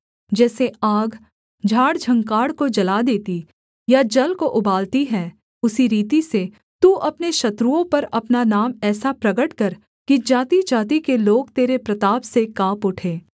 जैसे आग झाड़झँखाड़ को जला देती या जल को उबालती है उसी रीति से तू अपने शत्रुओं पर अपना नाम ऐसा प्रगट कर कि जातिजाति के लोग तेरे प्रताप से काँप उठें